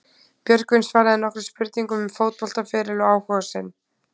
Björgvin svaraði nokkrum spurningum um fótboltaferil og áhuga sinn.